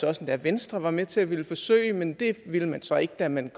også at venstre var med til at ville forsøge men det ville man så ikke da man